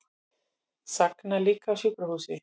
Sagna líka á sjúkrahúsi